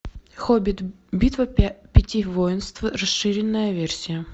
хоббит битва пяти воинств расширенная версия